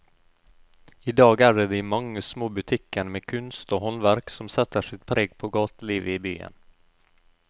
I dag er det de mange små butikkene med kunst og håndverk som setter sitt preg på gatelivet i byen.